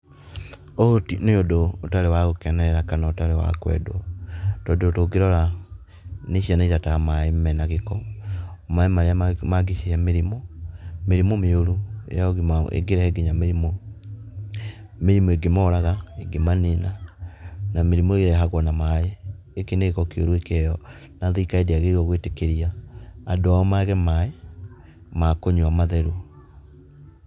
Ũyũ nĩ ũndũ ũtarĩ wa gũkenerera kana ũndũ ũtarĩ wa kwendwo tondũ tũngĩrora nĩ ciana cirataha maaĩ mena gĩko. Maaĩ marĩa mangĩcihe mĩrimũ, mĩrimũ mĩũru ĩngĩrehe nginya mĩrimũ ĩngĩmoraga na mĩrimũ ĩngĩmanina na mĩrimũ ĩrehagwo na maaĩ. Gĩkĩ nĩ gĩko kĩũru na thirikari ndĩagĩrĩire gwĩtĩkĩria andũ ao mage maaĩ ma kũnyua matheru.